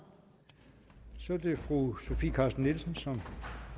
så er det fru sofie carsten nielsen som